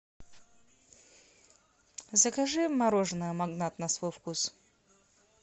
закажи мороженое магнат на свой вкус